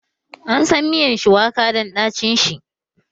Ansan miyan shuwaka dan ɗacin shi